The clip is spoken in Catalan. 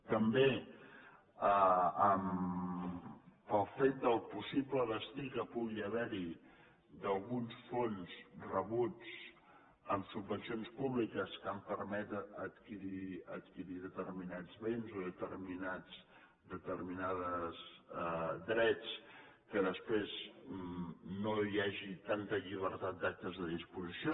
també pel fet del possible destí que pugui haver hi d’alguns fons rebuts amb subvencions públiques que han permès adquirir determinats béns o determinats drets que després no hi hagi tanta llibertat d’actes de disposició